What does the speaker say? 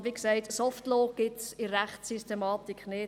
Und, wie gesagt, «Soft Law» existiert in der Rechtssystematik nicht.